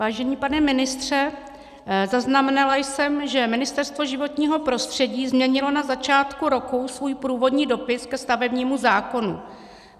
Vážený pane ministře, zaznamenala jsem, že Ministerstvo životního prostředí změnilo na začátku roku svůj průvodní dopis ke stavebnímu zákonu.